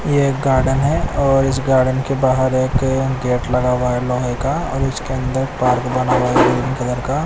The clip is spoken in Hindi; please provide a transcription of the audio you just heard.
यह एक गार्डन है और इस गार्डन के बाहर एक गेट लगा हुआ है लोहे का और उसके अंदर पार्क बना हुआ है ग्रीन कलर का --